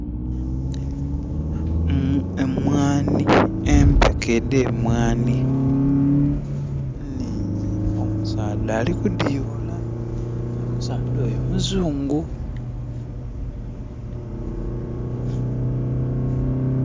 Emwani, empeke ede mwani ningi omusaadha ali ku di yoola. Omusaadha oyo muzungu